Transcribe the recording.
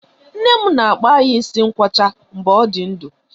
Nne m na-akpụ anyị isi ngwọcha mgbe ọ dị ndụ.